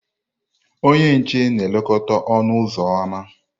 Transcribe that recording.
ọnye nche na-elekọta ọnụ ụzọ ámá.